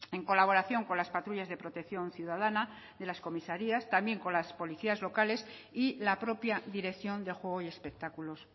en colaboración con las patrullas de protección ciudadana de las comisarias también con las policías locales y la propia dirección de juego y espectáculos